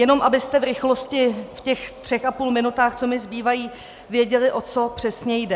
Jenom abyste v rychlosti, v těch třech a půl minutách, co mi zbývají, věděli, o co přesně jde.